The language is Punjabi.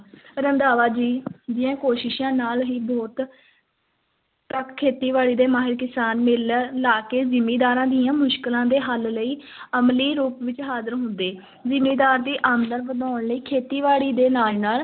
ਰੰਧਾਵਾ ਜੀ ਦੀਆਂ ਕੋਸ਼ਿਸ਼ਾਂ ਨਾਲ ਹੀ ਬਹੁਤ ਖੇਤੀ- ਬਾੜੀ ਦੇ ਮਾਹਰ ਕਿਸਾਨ ਮੇਲੇ ਲਾ ਕੇ ਜ਼ਿਮੀਦਾਰਾਂ ਦੀਆਂ ਮੁਸ਼ਕਲਾਂ ਦੇ ਹੱਲ ਲਈ ਅਮਲੀ ਰੂਪ ਵਿੱਚ ਹਾਜ਼ਰ ਹੁੰਦੇ ਜ਼ਿਮੀਦਾਰ ਦੀ ਆਮਦਨ ਵਧਾਉਣ ਲਈ ਖੇਤੀ-ਬਾੜੀ ਦੇ ਨਾਲ ਨਾਲ